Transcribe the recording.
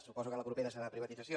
suposo que la propera serà privatització